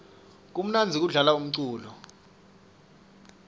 kumnandzi kudlala umculo